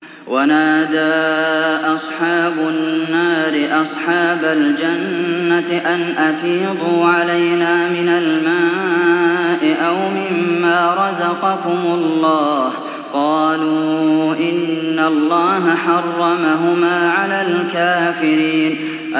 وَنَادَىٰ أَصْحَابُ النَّارِ أَصْحَابَ الْجَنَّةِ أَنْ أَفِيضُوا عَلَيْنَا مِنَ الْمَاءِ أَوْ مِمَّا رَزَقَكُمُ اللَّهُ ۚ قَالُوا إِنَّ اللَّهَ حَرَّمَهُمَا عَلَى الْكَافِرِينَ